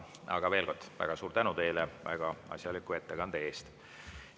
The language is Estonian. Aga veel kord, väga suur tänu teile väga asjaliku ettekande eest!